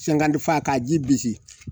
fa k'a ji bisi